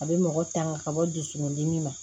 A bɛ mɔgɔ tanga ka bɔ dusukun dimi ma